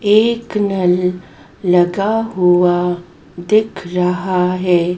एक नल लगा हुआ दिख रहा है।